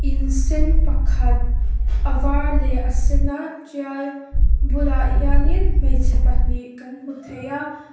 in sen pakhat a var leh a sen a ṭial bulah hianin hmeichhe pahnih kan hmu thei a.